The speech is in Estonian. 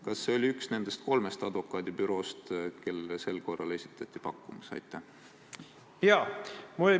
Kas see oli üks nendest kolmest advokaadibüroost, kellele sel korral esitati pakkumus?